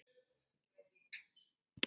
Var það útaf óskýrum fókus?